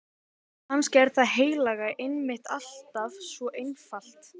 Kannski er það heilaga einmitt alltaf svo einfalt.